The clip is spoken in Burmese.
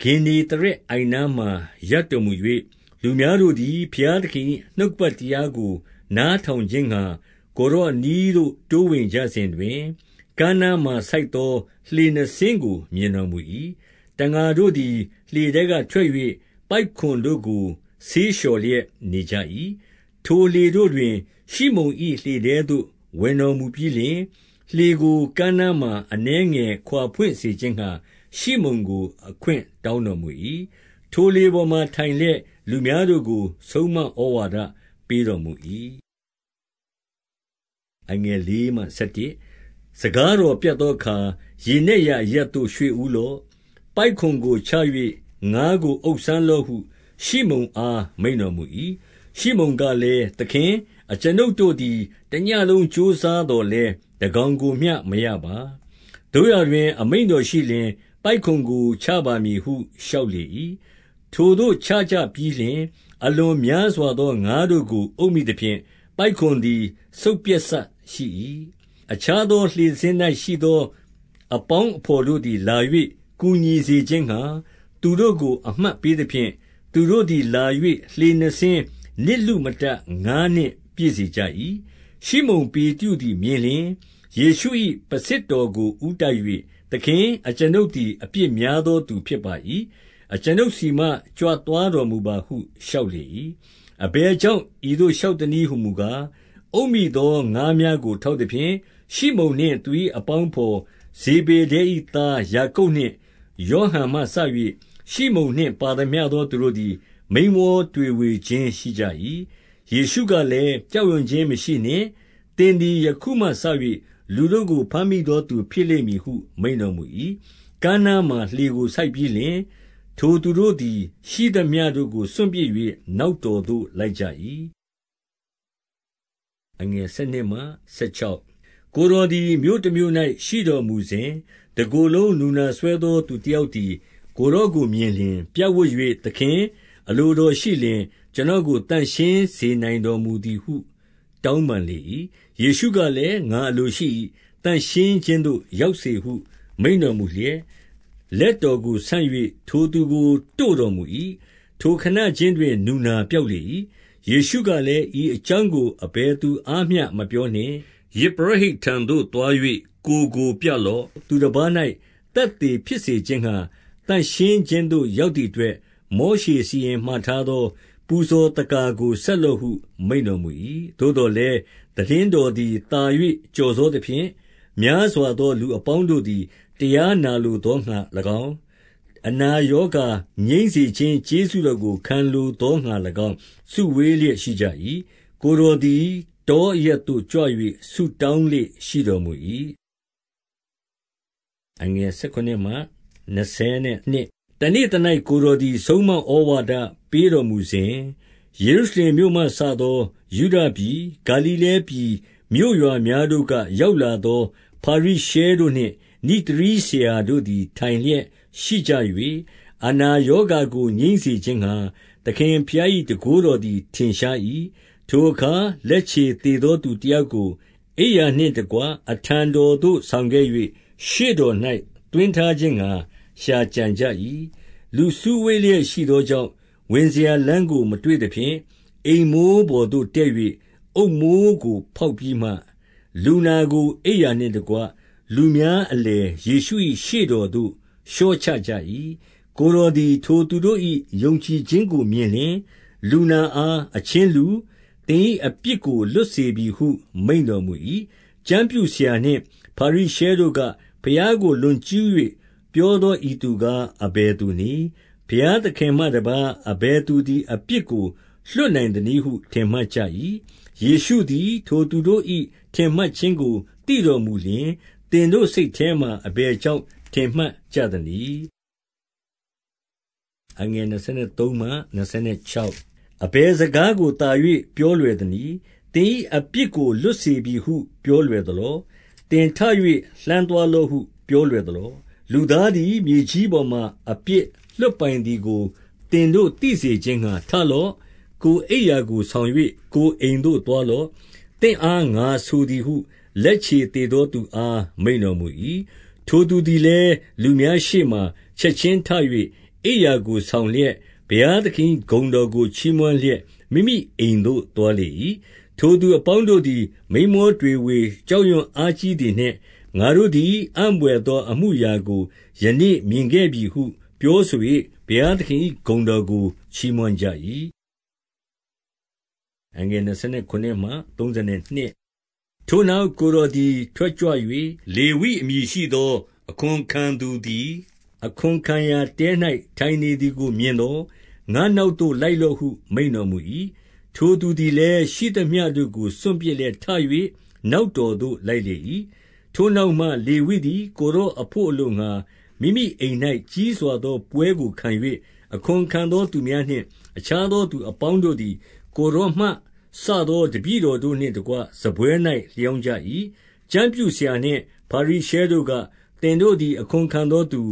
ဂင်္နေသရက်အိုင်နားမှာ ရပ်တော်မူ၍၊ လူများတို့သည် ဘုရားသခင်၏ နှုတ်ကပတ် တရားကို နားထောင်ခြင်းငှါ ကိုယ်တော်အနီးသို့ တိုးဝင်ကြစဉ်တွင်၊ ကမ်းနားမှာဆိုက်သော လှေနှစ်စင်းမြင် တော်မူ၏။ တံငါတို့သည် လှေထဲကထွက်၍ပိုက်ကွန်တို့ကို ဆေးလျှော်လျက်နေကြ၏။ ထိုလှေတို့တွင် ရှိမုန်၏ လှေထဲသို့ ဝင်တော်မူပြီးလျှင်၊ လှေကိုကမ်းနားမှာ အနည်းငယ်ခွာဖွင့်စေခြင်းငှါ ရှိမုန်ကို အခွင့်တောင်းတော်မူ၏။ ထိုလှေပေါ်မှာ ထိုင်လျက် လူများတို့ကို ဆုံးမဩဝါဒပေးတော်မူ၏။ စကားတော်ပြတ်သောအခါ၊ ရေနက်ရာအရပ်သို့ ရွှေ့ဦးလော့။ ပိုက်ကွန်ကိုချ၍ ငါးကိုအုပ်စမ်းလော့ ဟု ရှိမုန်အားမိန့်တော်မူ၏။ ရှိမုန်ကလည်း၊ သခင်၊ အကျွန်ုပ်တို့သည် တညဉ့်လုံးကြိုးစားသော်လည်း တကောင်ကိုမျှမရပါ။ သို့ရာ တွင် အမိန့်တော်ရှိလျှင် ပိုက်ကွန်ကို ချပါမည်ဟု လျှောက်လေ၏။ ထိုသို့ချကြပြီးလျှင်၊ အလွန်များစွာသော ငါးတို့ကို အုပ်မိသဖြင့် ပိုက်ကွန်သည် စုတ်ပျတ်စရှိ၏။ အခြားသော လှေတစင်း၌ရှိသော အပေါင်းအဘော်တို့သည်လာ၍ကူညီစေခြင်းငှါ သူတို့ကို အမှတ် ပေးသဖြင့်၊ သူတို့သည်လာ၍ လှေနှစ်စင်း နစ်လုမတတ် ငါးနှင့်ပြည့်စေကြ၏။ ရှိမုန် ပေတရုသ်မြင်လျှင်၊ ယေရှု၏ ပုဆစ်တော်ကိုဦးတိုက်၍၊ သခင်၊ အကျွန်ုပ်သည် အပြစ်များသော သူ ဖြစ်ပါ၏။ အကျွန်ုပ်ဆီမှကြွသွားတော်မူပါဟု လျှောက်လေ၏။ အဘယ်ကြောင့် ဤသို့ လျှောက်သနည်း ဟူမူကား၊ အုပ်မိသောငါးများကိုထောက်သဖြင့်၊ ရှိမုန်နှင့် သူ၏အပေါင်းအဘော် ဇေဗေဒဲ၏သားယာကုပ်နှင့် ယောဟန်မှစ၍ ရှိမုန်နှင့်ပါသမျှသောသူတို့သည် မိန်းမော တွေဝေခြင်းရှိကြ၏။ ယေရှုကလည်း၊ ကြောက်ရွံ့ခြင်းမရှိနှင့်။ သင်သည်ယခုမှစ၍ လူတို့ကိုဘမ်းမိသောသူ ဖြစ်လိမ့်မည်ဟု မိန့်တော်မူ၏။ ကမ်းနားမှာလှေကိုဆိုက်ပြီးလျှင်၊ ထိုသူတို့သည် ရှိသမျှတို့ကို စွန့်ပစ်၍ နောက်တော်သို့လိုက်ကြ၏။ ကိုယ်တော်သည် မြို့တမြို့၌ရှိတော်မူစဉ်၊ တကိုယ်လုံးနူနာစွဲသော သူတယောက်သည် ကိုယ်တော်ကို မြင်လျှင် ပြစ်ဝပ်၍၊ သခင်၊ အလိုတော်ရှိလျှင် ကျွန်တော်ကို သန့်ရှင်းစေနိုင်တော်မူသည်ဟု တောင်းပန်လေ၏။ ယေရှုကလည်း၊ ငါအလိုရှိ၏။ သန့်ရှင်းခြင်းသို့ ရောက်စေဟုမိန့်တော်မူလျက်၊ လက်ထောက်ကိုဆန့်၍ ထိုသူကိုတို့တော်မူ၏။ ထိုခဏခြင်းတွင် နူနာပျောက်လေ ၏။ ယေရှုကလည်း၊ ဤအကြောင်းကို အဘယ်သူအားမျှမပြောနှင့် ယဇ်ပရောဖိတ်ထံသို့သွား၍ ကိုယ်ကို ပြလော့။ သူတပါး၌ သက်သေဖြစ်စေခြင်းငှါ သန့်ရှင်းခြင်းသို့ ရောက်သည့်အတွက် မောရှေစီရင်မှာထားသော ပူဇော်သက္ကာကို ဆက်လော့ဟုမိန့်တော်မူ၏။ သို့သော်လည်း သိတင်းတော်သည်သာ၍ ကျော်စောသဖြင့်၊ များစွာသောလူအပေါင်းတို့သည် တရား နာလိုသောငါ၎င်း၊ အနာငြိမ်းစေခြင်း ကျေးဇူးတော်ကို ခံလိုသော၎င်း၊ စုဝေးလျက်ရှိကြ၏။ ကိုယ်တော်သည် တောအရပ်သို့ကြွ၍ ဆုတောင်းလေ့ရှိတော်မူ၏။ တနေ့သ၌ ကိုယ်တော်သည် ဆုံးမဩဝါဒပေးတော်မူစဉ် ယေရုရှလင်မြို့မှစသော ယုဒပြည်၊ ဂါလိလဲ ပြည်မြို့ရွာများတို့က ရောက်လာသော ဖာရိရှဲတို့နှင့် နိဿရည်ဆရာတို့သည် ထိုင်လျက်ရှိကြ၏၊ အနာရောဂါ ငြိမ်းစေခြင်းငှါ သခင်ဘုရား၏ တန်ခိုးတော်သည် ထင်ရှား၏။ ထိုအခါ လက်ခြေသေသောသူတယောက်ကို အိမ်ယာနှင့်တကွ အထံသို့ဆောင်ခဲ့၍၊ ရှေ့တော်၌ သွင်း ထားခြင်းငှါ ရှာကြံကြ၏။ လူစုဝေးလျက်ရှိသောကြောင့် ဝင်စရာလမ်းကိုမတွေ့သဖြင့်၊ အိမ်မိုးပေါ်သို့တက်၍ အုတ်မိုးကို ဖောက်ပြီးမှ လူနာကို အိမ်ယာနှင့်တကွ လူများ အလည်ယေရှု၏ ရှေ့တော်သို့ လျှော့ချကြ၏။ ကိုယ်တော်သည် ထိုသူတို့၏ ယုံကြည်ခြင်းကိုမြင်လျှင်၊ လူနာအား၊ အချင်းလူ၊ သင်၏အပြစ်ကို လွတ် စေပြီဟု မိန့်တော်မူ၏။ ကျမ်းပြုဆရာနှင့် ဖာရိရှဲတို့က၊ ဘုရားကိုလွန်ကျူး၍ ပြောသောဤသူကား အဘယ်သူနည်း။ ဘုရား သခင်မှတပါး အဘယ်သူသည် အပြစ်ကို လွှတ်နိုင်သနည်းဟု ထင်မှတ်ကြ၏။ ယေရှုသည် ထိုသူတို့၏ ထင်မှတ်ခြင်းကိုသိတော်မူလျှင်၊ သင်တို့စိတ်ထဲမှာအဘယ်ကြောင့် ထင်မှတ် ကြသနည်း။ အဘယ်စကားကိုသာ၍ ပြောလွယ်သနည်း။ သင်၏အပြစ်ကိုလွတ်စေပြီဟု ပြောလွယ်သလော။ သင် ထ၍ လှမ်းသွားလော့ ပြောလွယ်သလော။ လူသားသည်မြေကြီးပေါ်မှာ အပြစ်လွှတ်ပိုင်သည်ကို သင်တို့သိစေခြင်းငှါထလော့။ ကိုယ်အိမ်ယာကို ဆောင်၍ ကိုယ်အိမ်သို့သွားလော။ သင်အား ငါဆိုသည်ဟု လက်ခြေသေသောသူအား မိန့်တော်မူ၏။ ထိုသူသည်လည်း လူအများရှေ့မှာ ချက်ချင်းထ၍ အိမ်ယာကိုဆောင်လျက်၊ ဘုရားသခင်၏ ဂုဏ် တော်ကို ချီးမွမ်းလျက် မိမိအိမ်သို့သွားလေ၏။ ထိုသူအပေါင်းတို့သည် မိန်းမောတွေဝေ၍ ကြောက်ရွံ့အားကြီးသည်နှင့်၊ ငါတို့သည် အံ့ဘွယ်သော အမှုအရာကို ယနေ့မြင်ခဲ့ပြီဟုပြောဆို၍ ဘုရားသခင်၏ ဂုဏ်တော်ကိုချီးမွမ်းကြ၏။ ထိုနောက်ကိုယ်တော်သည် ထကြွ၍ လေဝိအမည်ရှိသော အခွန်ခံသူသည် အခွန်ခံရာတဲ၌ ထိုင်နေ သည်ကိုမြင်သော ငါနောက်သို့လိုက်လော့ မိန့်တော်မူ၏။ ထိုသူသည်လည်း ရှိသမျှတို့ကို စွန့်ပြစ်လေရဲ့ ထ၍နောက်တော်သို့လိုက်လေ၏။ ထိုနောက်မှလေဝိသည် ကိုယ်တော်အဘို့အလို့ငှါ မိမိအိမ်၌ကြီးစွာသောပွဲကိုခံ၍၊ အခွန်ခံသောသူများ နှင့် အခြားသောသူအပေါင်းတို့သည် ကိုယ်တော်မှစသော တပည့်တော်တို့နှင့်တကွ စားပွဲ၌ လျောင်းကြ၏။ ကျမ်းပြုဆရာနှင့်ဖာရိရှဲတို့က သင်တို့သည် အခွန်ခံသောသူ